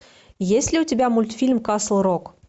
есть ли у тебя мультфильм касл рок